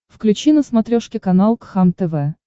включи на смотрешке канал кхлм тв